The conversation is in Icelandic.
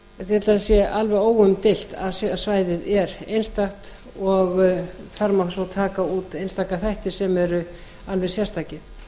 það sé alveg óumdeilt að svæðið er einstakt og þar má svo taka út einstaka þætti sem eru alveg sérstakir